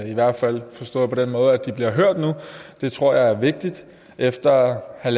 i hvert fald bliver hørt nu det tror jeg er vigtigt efter at